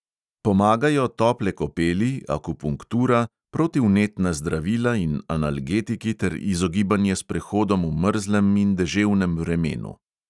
Pomagajo tople kopeli, akupunktura, protivnetna zdravila in analgetiki ter izogibanje sprehodom v mrzlem in deževnem vremenu.